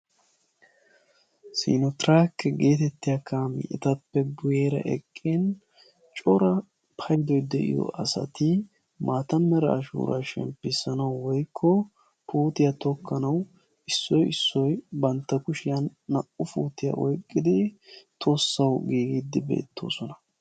siini tirraakiya geetettiya makiinay etappe guyeera eqiin cora paydoy de'iyo asati maata mera ashuura shemppissanau woykko puuttiya tokkanawu issoy issoy naa'u kushiyan puutiya tokkin